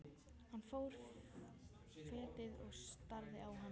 Hann fór fetið og starði á hana.